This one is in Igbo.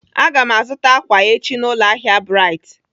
Aga m azụta ákwà echi na ụlọahịa Brite.